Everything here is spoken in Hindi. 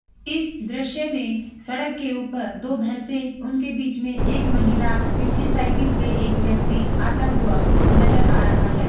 इस दृश्य में सड़क के ऊपर दो भैसें उनके बीच में एक महिला पीछे साइकिल पे एक व्यक्ति आता हुआ नज़र आ रहा है।